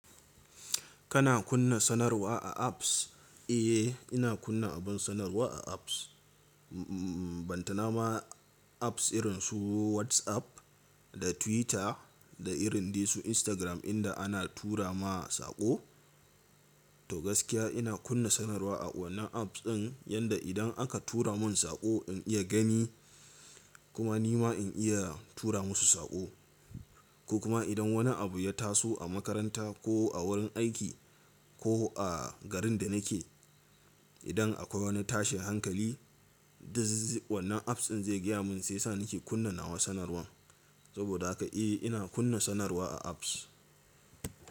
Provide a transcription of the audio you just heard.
Kana kunna sanarwa a apps? Eh, ina kunna abin sanarwa a apps. Bantama apps irinsu WhatsApp da Twitter da irin su Instagram inda ana tura ma saƙo. To gaskiya ina kunna sanarwa a wannan apps ɗin yanda idan aka tura mun saƙo in iya gani kuma nima in iya tura musu saƙo. Ko kuma idan wani abu ya taso a makaranta ko a wurin aiki ko a garin da nake, idan akwai wani tashin hankali, wannan apps ɗin zai gaya mun sai sa nake kunnawa sanarwan. Saboda haka eh ina kunna sanarwa a apps.